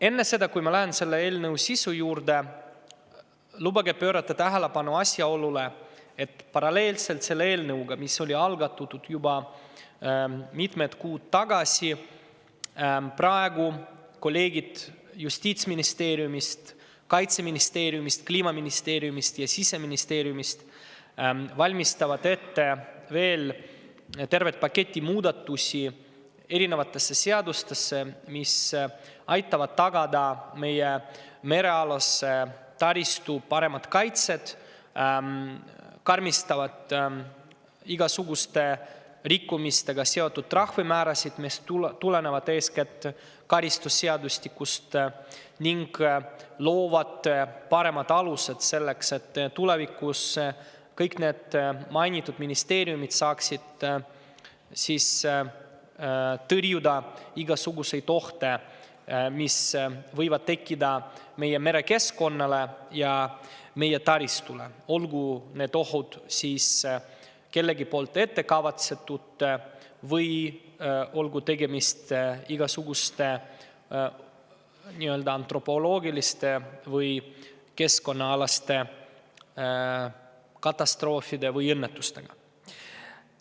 Enne, kui ma lähen selle eelnõu sisu juurde, lubage mul pöörata tähelepanu asjaolule, et paralleelselt selle eelnõuga, mis algatati juba mitmed kuud tagasi, valmistavad kolleegid Justiitsministeeriumist, Kaitseministeeriumist, Kliimaministeeriumist ja Siseministeeriumist ette veel tervet paketti eri seaduste muudatusi, mis aitavad tagada meie merealase taristu paremat kaitset, karmistavad igasuguste rikkumistega seotud trahvimäärasid, mis tulenevad eeskätt karistusseadustikust, ning loovad paremad alused selleks, et tulevikus saaksid kõik mainitud ministeeriumid tõrjuda igasuguseid ohte, mis võivad tekkida meie merekeskkonnale ja meie taristule, olgu need või olgu tegemist igasuguste antropoloogiliste või keskkonnaalaste katastroofide või õnnetustega.